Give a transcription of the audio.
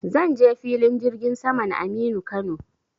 Zan je filin jirgin saman Aminu Kano.